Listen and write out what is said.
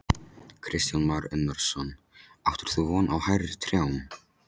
Kristján Már Unnarsson: Áttir þú von á hærri trjám?